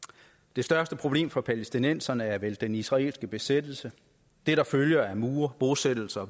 det største problem for palæstinenserne er vel den israelske besættelse det der følger af mure bosættelser og